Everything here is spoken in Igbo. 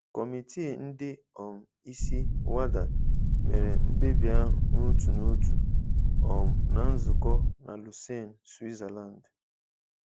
Kọmiti ndị um isi WADA mere mkpebi ahụ n'otu n'otu um na nzukọ na Lausanne, Switzerland.